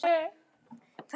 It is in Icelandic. Hvers konar.